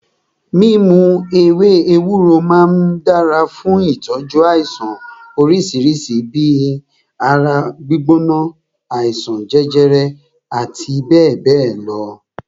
Mímu ewé ewúro máà ń dára fún ìtọ́jú àìsàn oríṣi bíi ibà, ara gbígbóná, àìsàn jẹjẹrẹ àti bẹ́ẹ̀bẹ́ẹ̀ lọ.